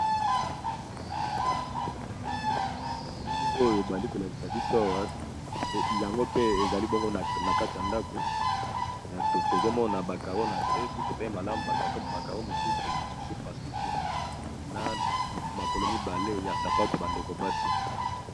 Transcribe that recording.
Elili oyo bali kolakisa biso awa yango pe ezali bongo na kati ya ndako, tozomona bacaro na se soki otali malamu bakaro mosusu esepasuki, na makolo mibale ya sapato bandeko basi.